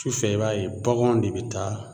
Tufɛ i b'a ye baganw de be taa